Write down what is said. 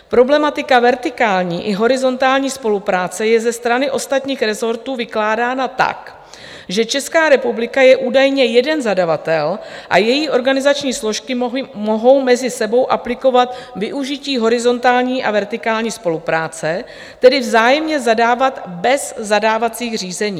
Problematika vertikální i horizontální spolupráce je ze strany ostatních rezortů vykládána tak, že Česká republika je údajně jeden zadavatel a její organizační složky mohou mezi sebou aplikovat využití horizontální a vertikální spolupráce, tedy vzájemně zadávat bez zadávacích řízení.